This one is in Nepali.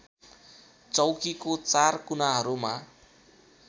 चौकीको चार कुनाहरूमा